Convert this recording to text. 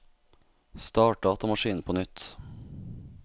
start datamaskinen på nytt